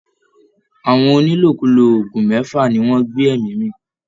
Àwọn onílòkulò oògùn mẹ́fà ni wọ́n gbé ẹ̀mí mì